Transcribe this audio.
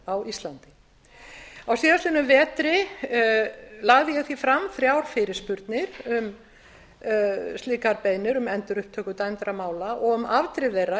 á íslandi síðasta vetur lagði ég því fram þrjár fyrirspurnir um slíkar beiðnir um endurupptöku dæmdra mála og um afdrif